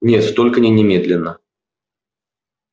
нет только не немедленно